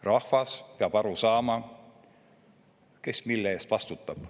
Rahvas peab aru saama, kes mille eest vastutab.